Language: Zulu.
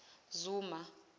zuma